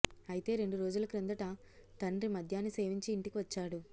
అయితే రెండు రోజుల కిందట తండ్రి మద్యాన్ని సేవించి ఇంటికి వచ్చాడు